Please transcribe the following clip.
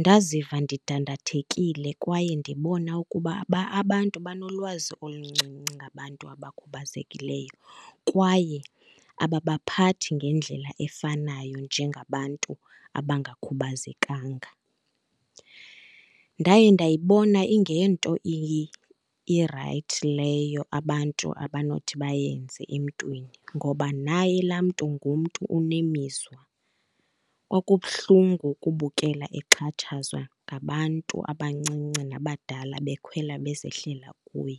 Ndaziva ndidandathekile kwaye ndibona ukuba abantu banolwazi oluncinci ngabantu abakhubazekileyo kwaye ababaphathi ngendlela efanayo njengabantu abangakhubazekanga. Ndaye ndayibona ingeyonto irayithi leyo abantu abanothi bayenze emntwini, ngoba naye la mntu ngumntu unemizwa. Kwakubuhlungu ukubukela exhatshazwa ngabantu abancinci nabadala bekhwela bezehlela kuye.